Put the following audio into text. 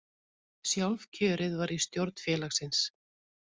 Sjálfkjörið var í stjórn félagsins